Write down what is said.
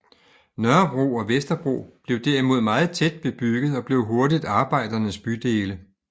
Nørrebro og Vesterbro blev derimod meget tæt bebygget og blev hurtigt arbejdernes bydele